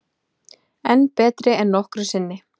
Enn betri en nokkru sinni